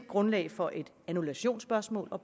grundlag for et annullationsspørgsmål og